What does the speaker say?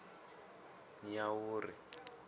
nyawuri